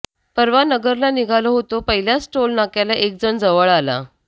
परवा नगरला निघालो होतो पहिल्याच टोल नाक्याला एकजण जवळ आला